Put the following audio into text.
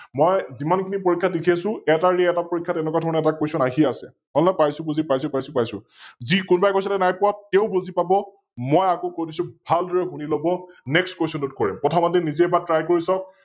মই যিমান খিনি পৰীক্ষাত দেখি আছো এটা এৰি এটা পৰীক্ষাত এনেকোৱা ধৰণৰ Question আহি আছে, হল নে? পাইছো বুজি, বুজি পাইছো, পাইছো পাইছো। যি, কোনোবাই কৈছিল নাই পোৱা তেও বুজি পাব, মই আকৌ কৈ দিছো, ভালদৰে শুনি লব, NextQuestion ত কৰিম । কথা পাতি নিজে এবাৰ Try কৰি চাওক